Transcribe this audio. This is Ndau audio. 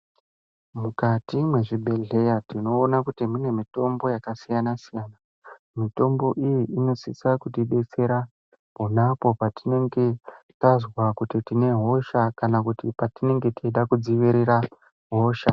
Mukati mwezvibhedhleya tinoona kuti mune mitombo yakasiyana-siyana. Mitombo iyi inosisa kutidetsera, pona apo patinenge tazwa kuti tine hosha ,kuti tine hosha kana patinenge tichida kudziirira hosha.